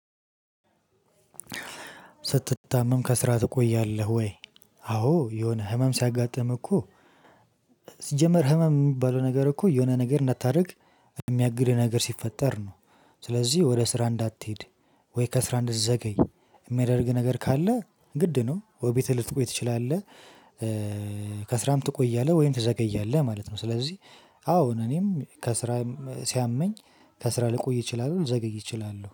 ስትታመም ከስራ ትቆያለህ ወይ? አዎ የሆነ ህመም ሲያጋጥም እኮ ሲጀመር ህመም የምባለው ነገር እኮ የሆነ ነገር እንዳታደርግ የሚያግድህ ነገር ሲፈጠር ነው። ስለዚህ ወደ ስራ እንዳትሄድ ወይ ከስራ እንደዘገይ የሚያደርግ ነገር ካለ ግድ ነው ወይ ቤትህ ልትቆይ ትችላለህ ከስራም ትቆያለህ ወይም ትዘገያለህ እያለ ማለት ነው። ስለዚህ አዎ እኔም ከስራ ሲያመኝ ከስራ ልቆይ እችላለሁ ልዘግይ እችላለሁ።